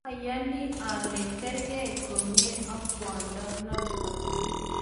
ayani ale kargei komye ak kwondo noto